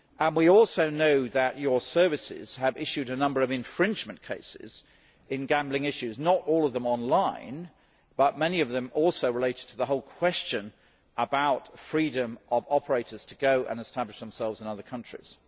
We also know that your services have issued a number of infringement cases in gambling issues, not all of them online, but many of them also relate to the whole question of freedom of operators to go and establish themselves in other countries.